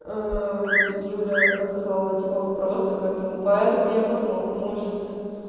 вот юля отослала типа вопросы поэтому поэтому я и подумала может